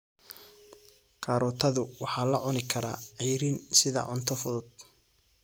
Karootadu waxaa la cuni karaa ceyriin sida cunto fudud.